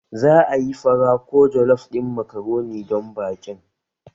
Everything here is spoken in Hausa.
Za ayi fara ko jollof ɗin makaroni don baƙin